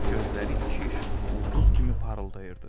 Gözləri iki işıqlı ulduz kimi parıldayırdı.